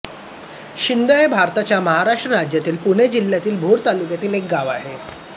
शिंद हे भारताच्या महाराष्ट्र राज्यातील पुणे जिल्ह्यातील भोर तालुक्यातील एक गाव आहे